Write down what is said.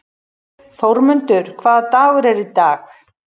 Þórmundur, hvaða dagur er í dag?